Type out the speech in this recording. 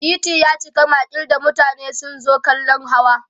titi yaci makil da mutane sun zo kallan hawa